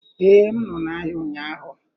Ee, m nọ n'ahịa ụnyaahụ